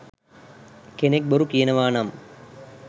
කෙනෙක් බොරු කියනවානම්